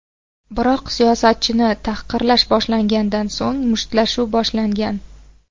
Biroq siyosatchini tahqirlash boshlangandan so‘ng, mushtlashuv boshlangan.